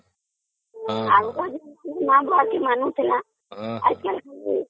ଆଉ କଣ ଆଜିକାଲି କେହି କାହାକୁ ମାନୁଛି ନା ହଁ